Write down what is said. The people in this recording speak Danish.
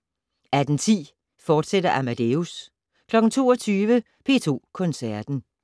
18:10: Amadeus, fortsat 22:00: P2 Koncerten